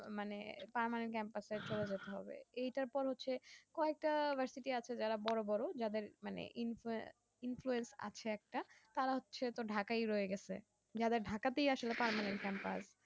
মানে permanent campus এ ভর্তি হতে হবে এইটা তো হচ্ছে কয়েকটা university আছে যারা বড় বড় যাদের মানে influence আছে একটা তারা হচ্ছে তো ঢাকা আই রয়ে গেছে যারা ঢাকা তেই আসলে permanent campus